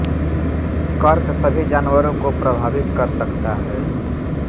कर्क सभी जानवरों को प्रभावित कर सकता है